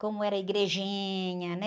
Como era igrejinha, né?